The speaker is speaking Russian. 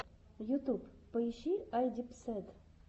ютюб поищи айдипсэд